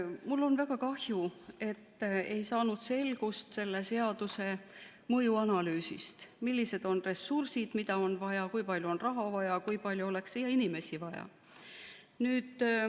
Mul on väga kahju, et ei saanud selgust selle seaduse mõjuanalüüsist, millised on ressursid, mida on vaja, kui palju on raha vaja, kui palju oleks inimesi vaja.